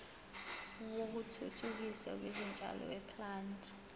wokuthuthukiswa kwezitshalo weplant